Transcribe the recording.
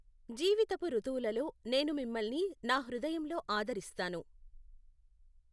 జీవితపు రుతువులలో, నేను మిమ్మల్ని నా హృదయంలో ఆదరిస్తాను.